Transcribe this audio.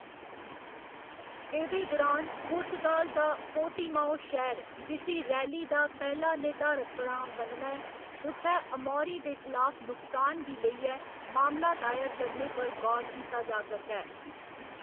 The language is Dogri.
एह्‌दे दुरान, पुर्तगाल दा पोर्टिमाओ शैह्‌र जिसी रैली दा पैह्‌‌ला निर्धारत पड़ांऽ बनना ऐ, उत्थै अमौरी दे खलाफ नुकसान गी लेइयै मामला दायर करने पर गौर कीता जा करदा ऐ।